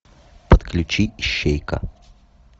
подключи ищейка